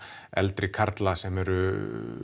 eldri karla sem eru